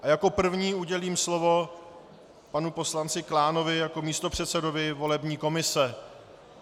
A jako prvnímu udělím slovo panu poslanci Klánovi jako místopředsedovi volební komise.